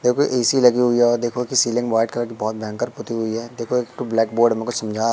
देखो ए_सी लगी हुई है देखो की सीलिंग वाइट कलर बहोत भयंकर पुति हुई है देखो एक ठो ब्लैक बोर्ड में कुछ समझा--